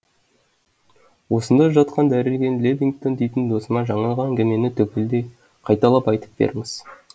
осында жатқан дәрігер лэвингтон дейтін досыма жаңағы әңгімені түгелдей қайталап айтып беріңіз